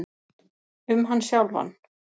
Um hann sjálfan.